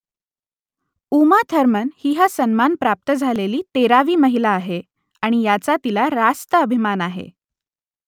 Uma Thurman ही हा सन्मान प्राप्त झालेली तेरावी महिला आहे आणि याचा तिला रास्त अभिमान आहे